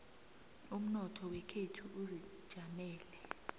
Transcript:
umnotho wekhethu uzijamele